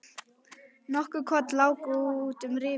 Nokkur korn láku út um rifuna.